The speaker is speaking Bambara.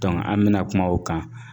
an bɛna kuma o kan